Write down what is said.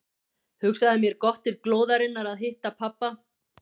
Hugsaði mér gott til glóðarinnar að hitta pabba.